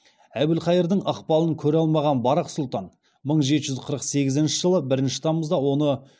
әбілқайырдың ықпалын көре алмаған барақ сұлтан мың жеті жүз қырық сегізінші жылы бірінші тамызда оны